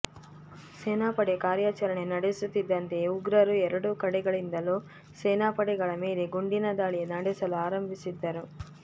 ಸೇನಾ ಪಡೆ ಕಾರ್ಯಾಚರಣೆ ನಡೆಸುತ್ತಿದ್ದಂತೆಯೇ ಉಗ್ರರು ಎರಡೂ ಕಡೆಗಳಿಂದಲೂ ಸೇನಾ ಪಡೆಗಳ ಮೇಲೆ ಗುಂಡಿನ ದಾಳಿ ನಡೆಸಲು ಆರಂಭಿಸಿದ್ದರು